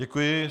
Děkuji.